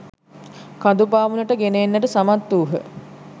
කඳු පාමුලට ගෙන එන්නට සමත් වූහ.